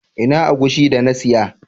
Ina agushi da na siya?